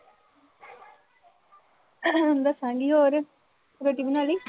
ਦੱਸਾਂਗੀ। ਹੋਰ ਰੋਟੀ ਬਣਾ ਲੀ?